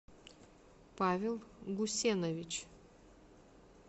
павел гусенович